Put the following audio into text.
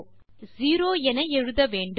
ஆகவே செரோ என எழுத வேண்டும்